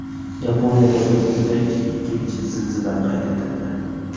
Yaponiyada bir kunda ikkinchi zilzila qayd etildi.